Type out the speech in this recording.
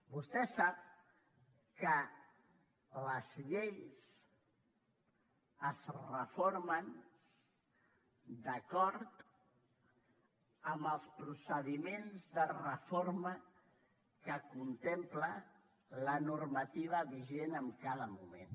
vostè sap que les lleis es reformen d’acord amb els procediments de reforma que contempla la normativa vigent en cada moment